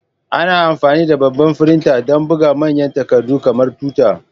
Ana amfani da babban firinta don buga manyan takardu kamar tuta.